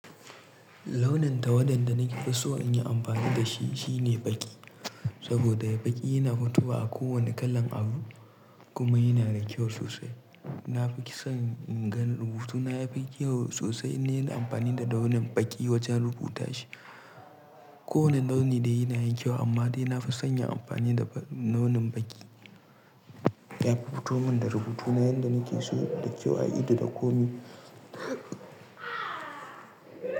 Launin ta waɗanda na ke so in yi amfani da shi shine baƙi. Saboda baƙi yana fitowa a kowane kalan abu kuma yana da kyau sosai. Na fi son in ga rubutuna yafi kyau sosai in nayi amfani da launin baƙi wajen rubuta shi. Ko wane launi dai yana yin kyau amma dai na fi son yin amfani da launin baƙi. Yafi futo mun da rubutu na yanda nake so da kyau a ido da komai.